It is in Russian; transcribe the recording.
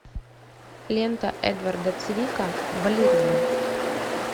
лента эдварда цвика балерина